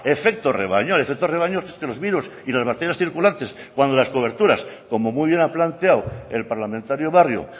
efecto rebaño el efecto rebaño es que los virus y las bacterias circulantes cuando las coberturas como muy bien ha planteado el parlamentario barrio